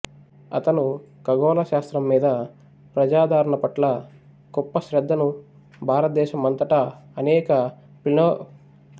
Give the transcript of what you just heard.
అతను ఖగోళ శాస్త్రం మీద ప్రజాదరణ పట్ల గొప్ప శ్రద్ధను భారతదేశం అంతటా అనేకప్లేనెటోరియంల ఏర్పాటుకు సహాయపడాడు